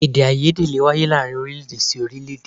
Èdèàìyedè lè wáyé láàárín orílé-èdè sí orílé-èdè